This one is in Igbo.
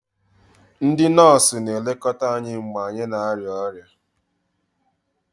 Ndị nọọsụ na-elekọta anyị mgbe anyị na-arịa ọrịa